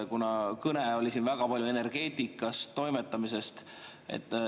Kuna kõne oli siin väga palju energeetikas toimetamisest.